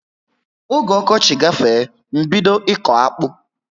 Ógè okochi gafee, m bido iko akpụ